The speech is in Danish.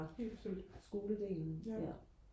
helt bestemt ja